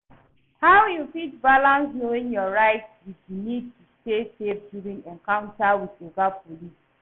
How you fit balanace knowing your rights with di need to stay safe during encounter with oga police?